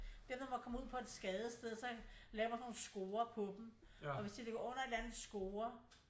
Der når man kommer ud på et skadested så laver man sådan nogle scorer på dem og hvis de ligger under en eller anden score